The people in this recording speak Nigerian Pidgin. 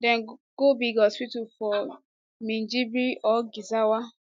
dem go big hospital for minjibir or gezawa